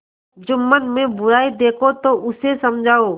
जुम्मन में बुराई देखो तो उसे समझाओ